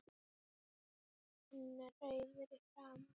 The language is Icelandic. Hann er rauður í framan.